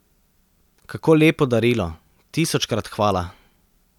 Kako lepo darilo, tisočkrat hvala.